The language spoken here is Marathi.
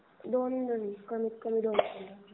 दोन जण कमीत कमी दोन जण.